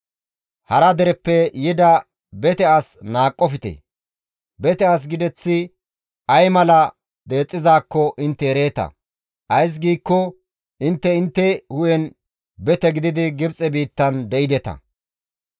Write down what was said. «Hara dereppe yida bete as qohoppite; bete as gideththi ay mala deexxizaakko intte ereeta; ays giikko intte intte hu7en bete gididi Gibxe biittan de7ideta.